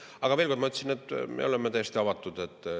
Aga veel kord: ma ütlesin, et me oleme täiesti avatud.